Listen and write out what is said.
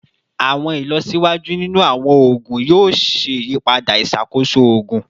Awọn ilọsiwaju ninu awọn oogun yoo ṣe iyipada iṣakoso oogun